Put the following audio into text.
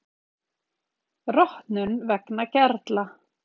Rotnun vegna gerla